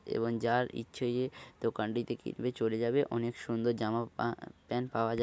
এবং যার ইচ্ছে দোকানটিতে চলে যাবে অনেক সুন্দর জামা পা প্যান্ট পাওয়া যায়।